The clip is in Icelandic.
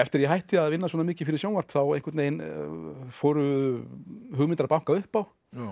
ég hætti að vinna svona mikið fyrir sjónvarp þá fóru hugmyndir að banka upp á